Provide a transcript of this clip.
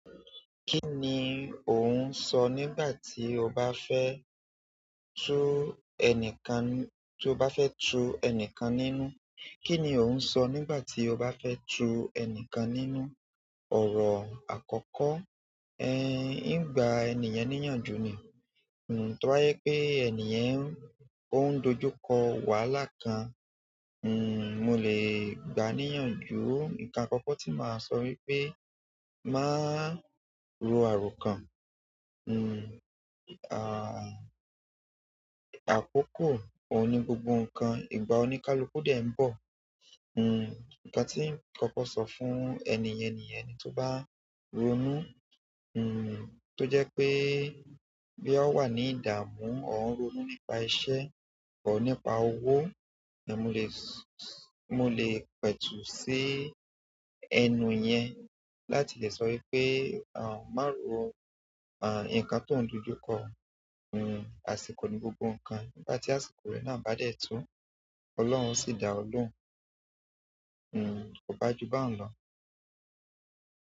Kí ni o ń sọ nígbà tí o bá fẹ́ tù ẹni kan, tí o bá fẹ́ tù ẹni kan nínú? Kí ni ò ń sọ nígbà tí o bá fẹ́ tu ẹni kan nínú? Ọ̀rọ̀ àkọ́kọ́, ẹ̀ ń gba ènìyàn níyànjú ni. Hmm, tó bá yẹ pé ènìyàn òun dojú kọ wàhálà kan, hmm, mo lè gbà á níyànjú. Nǹkan àkọ́kọ́ tí màá sọ wípé, má rò àárò kan. Hmmm, à-àkòkò ò ní gbogbo ǹkan, ìgbà oníkálukú dẹ ń bọ̀. Hmmm, ǹkan tí ǹ kọ́kọ sọ fún ẹnìyàn ni yẹn, ẹni tí ó bá ronú, hmmm, tó jẹ́ pé bóyà o wà ní ìdààmú, tàbí o ń ronú nípa iṣẹ́ tàbí nípa owó, mo lè s-mo lè pẹ̀tù sí ẹnu yẹn láti lè sọ wípé, à, má rọ, à, ǹkan tó ń dojú kọ. Hmmm, àsìkò ní gbògbò ǹkan. Nígbà tí àsìkò rẹ náà bá dẹ tó, Ọlọ́run yóò sì dá ọ lóhùn. Hmmm, kò bá ju bá ń lọ.